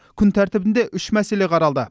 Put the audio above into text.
күн тәртібінде үш мәселе қаралды